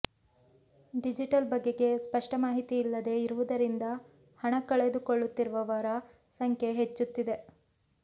digital ಬಗೆಗೆ ಸ್ಪಷ್ಟ ಮಾಹಿತಿ ಇಲ್ಲದೇ ಇರುವುದರಿಂದ ಹಣ ಕಳೆದುಕೊಳ್ಳುತ್ತಿರುವವರ ಸಂಖ್ಯೆ ಹೆಚ್ಚುತ್ತಿದೆ